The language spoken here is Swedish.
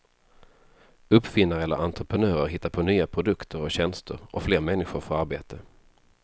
Uppfinnare eller entreprenörer hittar på nya produkter och tjänster och fler människor får arbete.